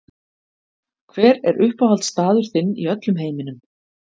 Hver er uppáhaldsstaður þinn í öllum heiminum?